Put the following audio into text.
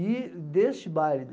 E, deste baile,